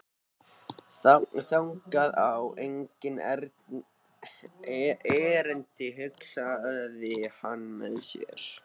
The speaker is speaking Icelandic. Þangað á enginn erindi, hugsaði hann með sér.